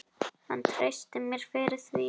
Hann treysti mér fyrir því.